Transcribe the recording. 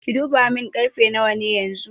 Ki duba mun karfe nawa ne yanxu?